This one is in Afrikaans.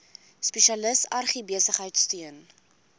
spesialis agribesigheid steun